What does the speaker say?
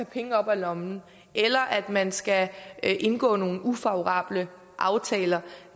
penge op af lommen eller at man skal indgå nogle ufavorable aftaler